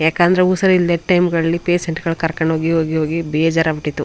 ಯಾಕಂದ್ರೆ ಉಸಿರಿಲ್ದೆ ಟೈಮ್ ಗಳಲ್ಲಿ ಪೇಷಂಟ್ ಸ್ ನ ಕರ್ಕೊಂಡು ಹೋಗಿ ಹೋಗಿ ಬೇಜಾರಾಗಿ ಬಿಟ್ಟಿತ್ತು.